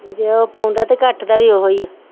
ਜੇ ਉਹ ਪਾਉਂਦਾ ਤੇ ਕੱਟ ਦਾ ਵੀ ਉਹੀ ਆ